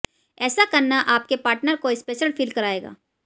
ऐसा करना आपके पार्टनर को स्पेशल फील कराएगा